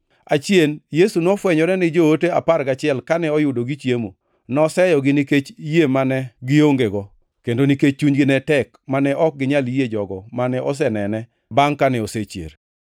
Achien Yesu nofwenyore ni joote apar gachiel kane oyudo gichiemo; noseyogi nikech yie mane giongego, kendo nikech chunygi ne tek mane ok ginyal yie jogo mane osenene bangʼ kane osechier.